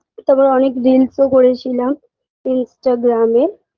তারপর অনেক reels -ওকরেছিলাম instagram -এ